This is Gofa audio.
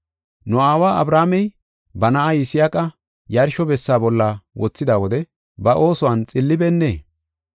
Nu aawa Abrahaamey, ba na7aa Yisaaqa yarsho bessa bolla wothida wode ba oosuwan xillibeennee?